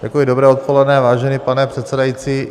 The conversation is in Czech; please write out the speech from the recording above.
Dobré odpoledne, vážený pane předsedající.